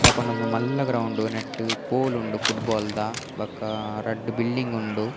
ದಾಯೆ ಪಂಡ ಉಂದು ಮಲ್ಲ ಗ್ರೌಂಡ್ ನೆಟ್ಟ್ ಪೋಲ್ ಉಂಡು ಫುಟ್ಬಾಲ್ ದ ಬೊಕಾ ರಡ್ಡ್ ಬಿಲ್ಡಿಂಗ್ ಉಂಡು .